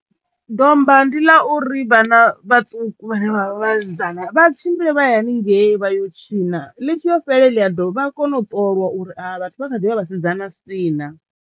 Domba ndi ḽa uri vhana vhaṱuku vhane vha vha vhasidzana vha tshimbile vha ye haningei vha yo u tshina ḽi tshi yo fhela he ḽi ya domba vha kono u ṱoliwa uri a vha vhathu vha ḓi vha Vhasidzana sii naa.